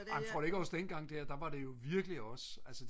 tror du ikke også dengang der der var det virkelig også